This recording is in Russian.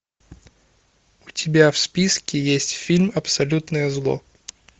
у тебя в списке есть фильм абсолютное зло